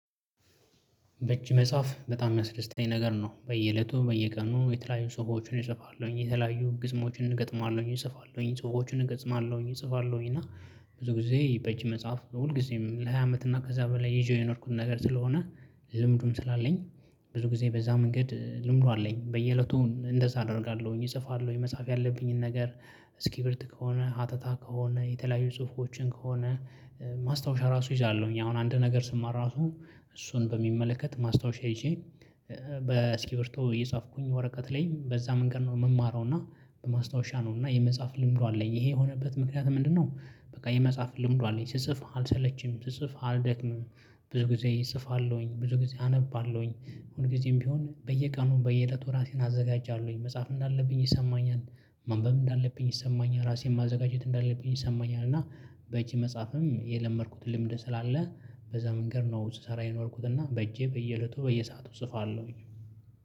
በጅ መጽሐፍ በጣም እሚያስደስተኝ ነገር ነው። በየእለቱ በየቀኑ የተለያዩ ፅሁፎችን እጽፋለሁኝ የተለያዩ ግጽሞችን እገጥማለሁኝ እሰፋለሁኝ ጽሁፎቹን እገጽማለሁኝ እጽፋለሁኝ እና። ብዙ ጊዜ በጅ መጽሐፍ ሁል ጊዜም ለሃያ አመት እና ከዛ በላይ ይዤው የኖርኩት ነገር ስለሆነ። ልምዱም ስላለኝ። ብዙ ጊዜ በዛ መንገድ ልምዱ አለኝ በየእለቱ እንደዛ አደርጋለሁኝ እጽፋለሁኝ መጽሐፍ ያለብኝን ነገር። እስኪ ብርት ከሆነ ሀተታ ከሆነ የተለያዩ ጽሁፎችን ከሆነ ማስታወሻ ራሱ ይዛለሁኝ አሁን አንድ ነገር ስማር ራሱ እሱን በሚመለከት ማስታወሻ ይዤ። በእስኪብርቶ እየጻፍኩኝ ወረቀት ላይ በዛ መንገድ ነው የምማረው እና። በማስታወሻም ነውና የመጽሐፍ ልምዱ አለኝ። ይሄ የሆነበት ምክንያት ምንድነው? በቃ የመጽሐፍ ልምዱ አለኝ ስጽፍ አልሰለችም ስጽፍ አልደክምም። ብዙ ጊዜ እጽፋለሁኝ ብዙ ጊዜ አነባለሁኝ። ሁል ጊዜም ቢሆን በየቀኑ በየጠጡ ራሴን አዘጋጃለሁኝ መጽሐፍ እንዳለብኝ ይሰማኛል። ማንበብ እንዳለብኝ ይሰማኛል ራሴን ማዘጋጀት እንዳለብኝ ይሰማኛል እና። በጅ መጽሐፍም የለመድኩት ልምድ ስላለ። በዛ መንገድ ነው ስሰራ የኖርኩት እና በጄ በየእለቱ በየሰአቱ እጽፋለሁኝ።